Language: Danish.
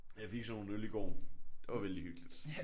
Men jeg fik så nogle øl i går. Det var vældig hyggeligt